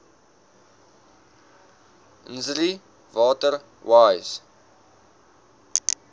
nsri water wise